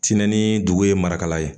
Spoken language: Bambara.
Tintin ni dugu ye marakala ye